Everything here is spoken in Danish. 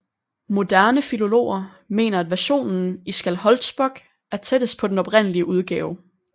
Moderne filologer mener at versionen i Skálholtsbók er tættest på den oprindelige udgave